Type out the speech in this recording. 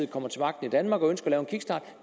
kommer til magten i danmark og ønsker at lave en kickstart